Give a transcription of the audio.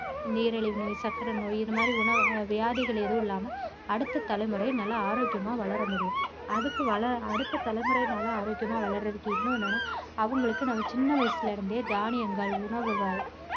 நீரிழிவு நோய் சக்கரை நோய் இந்த மாதிரி உண~ வியாதிகள் எதுவும் இல்லாம அடுத்த தலைமுறை நல்ல ஆரோக்கியமா வளர முடியும் அதுக்கு வள~அடுத்த தலைமுறை நல்ல ஆரோக்கியமா வளர்றதுக்கு இன்னொண்ணு என்னென்னா அவங்களுக்கு நம்ம சின்ன வயசுல இருந்தே தானியங்கள் உணவுகள்